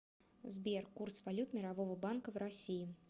сбер курс валют мирового банка в россии